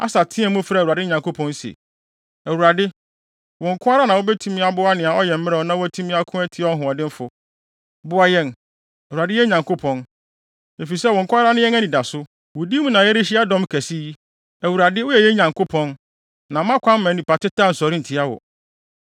Asa teɛɛ mu, frɛɛ Awurade ne Nyankopɔn se, “ Awurade, wo nko ara na wubetumi aboa nea ɔyɛ mmerɛw na watumi ako atia ɔhoɔdenfo! Boa yɛn, Awurade, yɛn Nyankopɔn, efisɛ wo nko ara ne yɛn anidaso. Wo din mu na yɛrehyia dɔm kɛse yi. Awurade, woyɛ yɛn Nyankopɔn, na mma kwan mma nnipa teta nsɔre ntia wo!”